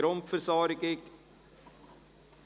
«ICT-Grundversorgung [